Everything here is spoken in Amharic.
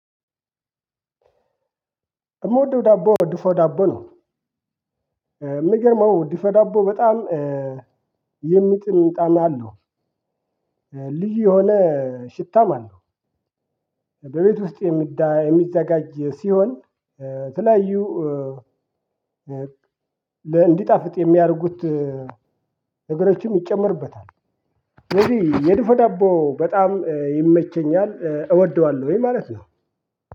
እምወደው ዳቦ ወድፎ ዳቦ ነው። የሚገርመው ድፎ ዳቦ በጣም የሚጥም ጣም አለው። ልዩ የሆነ ሽታም አለው። በቤት ውስጥ የሚዘጋጅ ሲሆን የተለያዩ እንዲጣፍጥ የሚያደርጉት ነገሮችም ይጨመሩበታል። የድፎ ዳቦ በጣም ይመቸኛል እወደዋለሁኝ ማለት ነው።